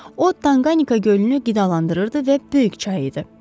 O Tanqanika gölünü qidalandırırdı və böyük çay idi.